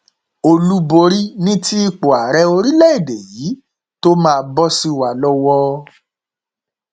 olúborí ni ti ipò ààrẹ orílẹèdè yìí tó máa bọ sí wa lọwọ